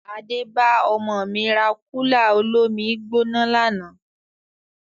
Adé bá ọmọ mi rà kúlà olómi-I-gbóná lànà